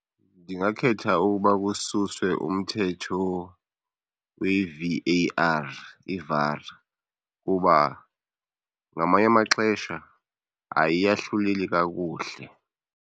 Ndingakhetha uba kususwe umthetho kwi-V_A_R, i-VAR, kuba ngamanye amaxesha ayiyahluleli kakuhle.